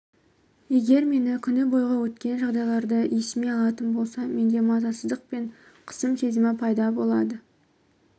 егер мен күні бойғы өткен жағдайларды есіме алатын болсам менде мазасыздық пен қысым сезімі пайда болады